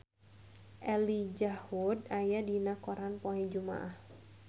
Elijah Wood aya dina koran poe Jumaah